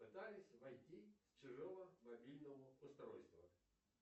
пытались войти с чужого мобильного устройства